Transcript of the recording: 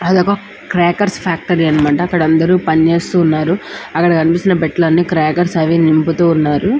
అది ఒక crackers factory అన్నమాట. అక్కడ అందరూ పనిచేస్తూ ఉన్నారు. అక్కడ కనిపిస్తున్నా పెట్టే లు అని క్రాకెర్స్ అవి నింపుతూ ఉన్నారు.